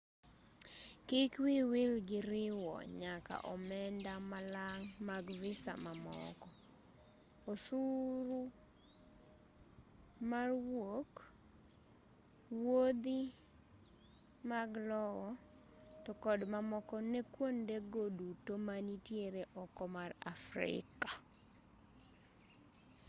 kik wiyi wil gi riwo nyaka omenda malang' mag visa mamoko osuru mar wuok wuodhi mag lowo to kod mamoko ne kuonde go duto manitiere oko mar afrika